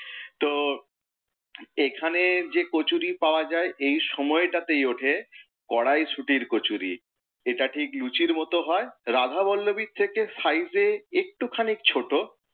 তো এখানের যে কচুরি পাওয়া যায় এই সময়টাতেই ওঠে, কড়াইশুঁটির কচুরি, এটা লুচির মত হয়, রাধাবল্লবির থেকে size এ একটু খানি ছোট,